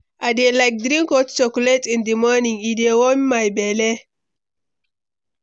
I dey like drink hot chocolate in di morning; e dey warm my belle.